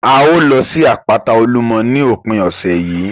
A ó lọ sí àpáta Olúmọ ní òpin ọ̀sẹ̀ yìí